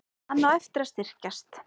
Hann á eftir að styrkjast.